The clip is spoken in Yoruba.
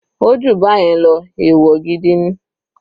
Ó jù báyẹn lọ, ẹ̀wọ̀ gidi ni.